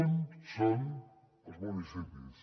un són els municipis